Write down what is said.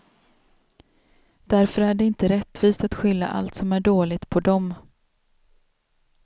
Därför är det inte rättvist att skylla allt som är dåligt på dem.